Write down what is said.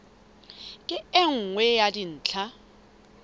ke e nngwe ya dintlha